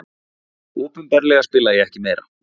Opinberlega spila ég ekki meira.